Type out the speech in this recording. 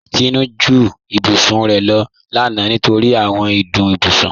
Tinú ju ìbùsùn rẹ̀ lọ lána nítorí àwọn ìdùn ìbùsùn.